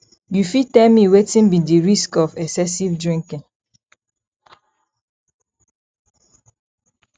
you fit tell me wetin be di risk of excessive drinking